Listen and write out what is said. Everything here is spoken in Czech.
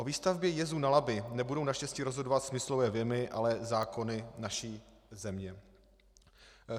O výstavbě jezu na Labi nebudou naštěstí rozhodovat smyslové vjemy, ale zákony naší země.